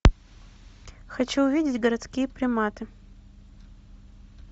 хочу увидеть городские приматы